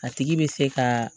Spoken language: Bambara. A tigi bɛ se ka